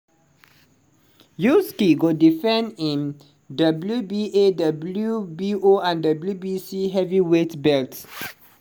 usyk go defend im wba wbo and wbc heavyweight belts.